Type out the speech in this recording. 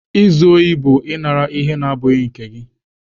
Izu ohi bụ ịnara ihe na-abụghị nke gị.